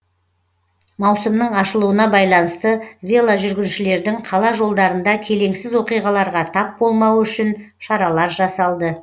маусымның ашылуына байланысты веложүргіншілердің қала жолдарында келеңсіз оқиғаларға тап болмауы үшін шаралар жасалды